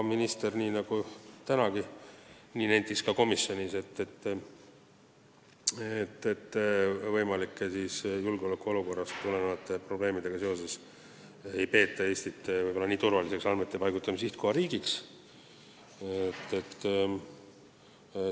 Minister nentis komisjonis nii nagu tänagi siin, et võimalike julgeolekuolukorrast tulenevate probleemidega tõttu ei peeta Eestit võib-olla nii turvaliseks andmete paigutamise sihtkohariigiks.